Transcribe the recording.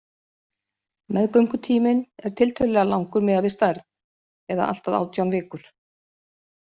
Meðgöngutíminn er tiltölulega langur miðað við stærð, eða allt að átján vikur.